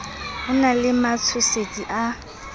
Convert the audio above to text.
ho na le matshosetsi a